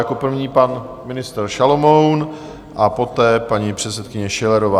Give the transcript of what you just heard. Jako první pan ministr Šalomoun a poté paní předsedkyně Schillerová.